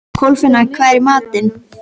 Kolfinna, hvað er í matinn?